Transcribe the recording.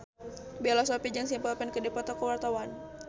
Bella Shofie jeung Simple Plan keur dipoto ku wartawan